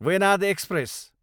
Venad express